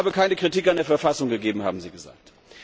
Es habe keine Kritik an der Verfassung gegeben, haben Sie gesagt.